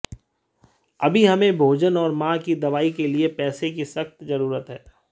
अभी हमें भोजन और मां की दवाई के लिए पैसे की सख्त जरूरत है